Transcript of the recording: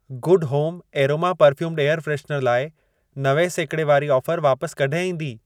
Good home aroma perfumed air freshener लाइ नवे सैकिड़े वारी ऑफर वापस कॾहिं ईंदी?